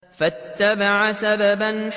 فَأَتْبَعَ سَبَبًا